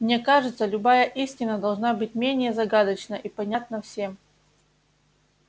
мне кажется любая истина должна быть менее загадочна и понятна всем